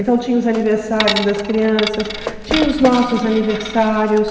Então tinha os aniversários das crianças, tinha os nossos aniversários.